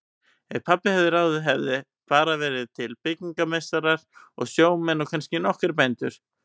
Ef pabbi hefði ráðið hefðu bara verið til byggingameistarar og sjómenn og kannski nokkrir bændur.